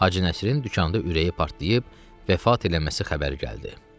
Hacı Nəsirin dükanında ürəyi partlayıb vəfat eləməsi xəbəri gəldi.